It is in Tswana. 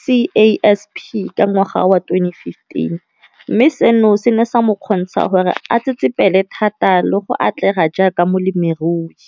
CASP ka ngwaga wa 2015, mme seno se ne sa mo kgontsha gore a tsetsepele thata le go atlega jaaka molemirui.